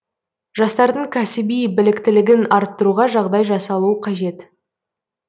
жастардың кәсіби біліктілігін арттыруға жағдай жасалуы қажет